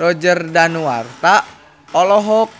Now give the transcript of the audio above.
Roger Danuarta olohok